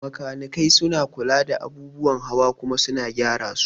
Makanikai suna kula da abubuwan hawa kuma su gyara su